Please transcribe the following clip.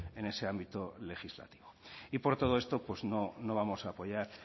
en ese ámbito legislativo y por todo esto pues no vamos a apoyar